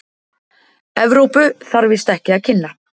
Evrópu, þarf víst ekki að kynna.